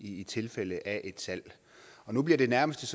i tilfælde af et salg nu bliver det nærmest til